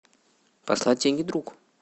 послать деньги другу